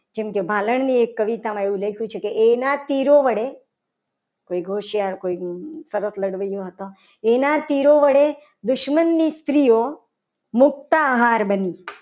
જેમકે ભાલણની એક કવિતામાં એમ લખ્યું છે. કે એના શીરો વડે કોઇક હોશિયાર કોઈ સરસ લડવાઈઓ. થતો એના શિરો વડે દુશ્મનની સ્ત્રીઓ મુકતા હાર બની મુકતા હાર બની.